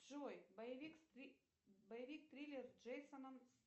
джой боевик боевик триллер с джейсоном